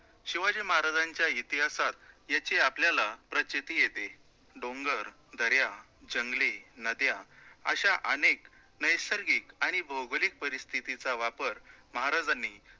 शिवाजी महाराजांच्या इतिहासात याची आपल्याला प्रचिती येते. डोंगर, दर्या, जंगले, नद्या अश्या अनेक नैसर्गिक आणि भौगोलिक परिस्थितीचा वापर महाराजांनी